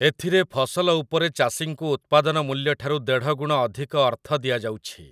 ଏଥିରେ ଫସଲ ଉପରେ ଚାଷୀଙ୍କୁ ଉତ୍ପାଦନ ମୂଲ୍ୟଠାରୁ ଦେଢ଼ଗୁଣ ଅଧିକ ଅର୍ଥ ଦିଆଯାଉଛି ।